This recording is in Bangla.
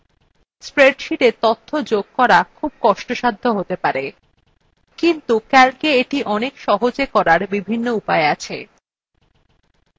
spreadsheeta তথ্য যোগ করা খুব কষ্টসাধ্য হতে পারে কিন্তু calca এটি অনেক সহজে করার বিভিন্ন উপায় আছে